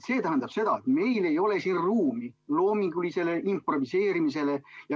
See tähendab seda, et meil ei ole siin ruumi loomingulisele improviseerimisele.